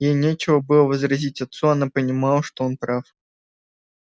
ей нечего было возразить отцу она понимала что он прав